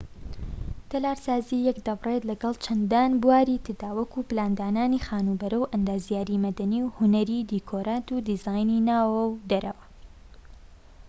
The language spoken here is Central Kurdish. تەلارسازی یەک دەبڕێت لەگەڵ چەندان بواری تردا وەکو پلاندانانی خانوبەرە و ئەندازیاریی مەدەنی و هونەری دیکۆرات و دیزاینی ناوەوە و دەرەوە